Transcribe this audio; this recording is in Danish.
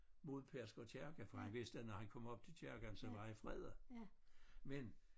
Mod Pedersker Kirke for han vidste at når han kom op til kirken så var han fredet men